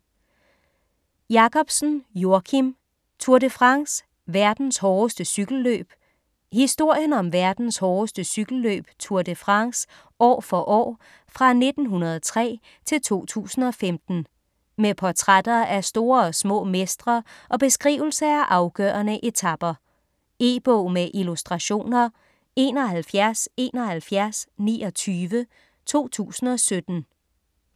Jakobsen, Joakim: Tour de France: verdens hårdeste cykelløb Historien om verdens hårdeste cykelløb Tour de France år for år fra 1903-2015. Med portrætter af store og små mestre og beskrivelse af afgørende etaper. E-bog med illustrationer 717129 2017.